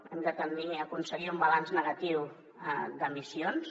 hem de tendir a aconseguir un balanç negatiu d’emissions